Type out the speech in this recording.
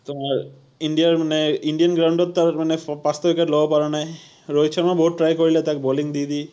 তোমাৰ India ৰ মানে Indian ground ত তাৰ মানে পাঁচটা wicket লব পৰা নাই, ৰহিত শৰ্মাই বহুত try কৰিলে তাক bowling দি দি